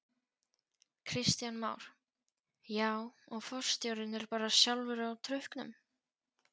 Kristján Már: Já og forstjórinn er bara sjálfur á trukknum?